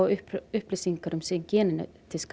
upplýsingar um sinn